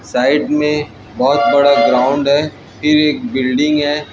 Side में बहोत बड़ा ग्राउंड है फिर एक बिल्डिंग है।